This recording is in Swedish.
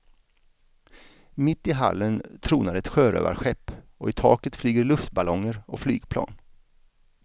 Mitt i hallen tronar ett sjörövarskepp och i taket flyger luftballonger och flygplan.